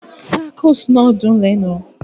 Tacos náà dùn lẹ́nu